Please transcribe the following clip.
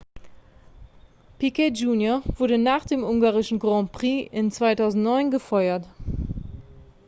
piquet jr wurde nach dem ungarischen grand prix in 2009 gefeuert